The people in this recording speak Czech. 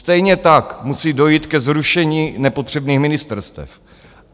Stejně tak musí dojít ke zrušení nepotřebných ministerstev.